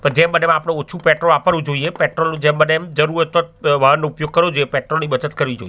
પણ જેમ બને એમ આપણે ઓછું પેટ્રોલ વાપરવું જોઈએ પેટ્રોલ નું જેમ બને એમ જરૂર હોય તો જ વાહનનો ઉપયોગ કરવો જોઈએ પેટ્રોલ ની બચત કરવી જોઈએ.